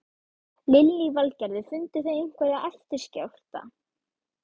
Lillý Valgerður: Funduð þið einhverja eftirskjálfta?